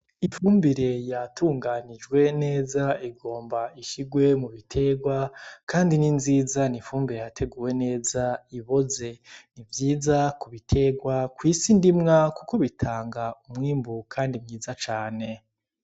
Ifumbire yatunganijwe neza igomba ishigwe mubitegwa, kandi ni nziza n’ifumbire yateguwe neza ihoze nivyiza kubitegwa kw’isi ndimwa kuko bitanga umwimbu kandi mwiza cane.